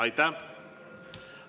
Aitäh!